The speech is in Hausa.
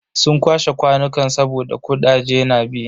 Sun kwashe kwanukan saboda kudaje na bi.